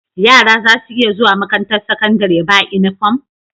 Yara zasu iya zuwa makarantar sakandari ba inufom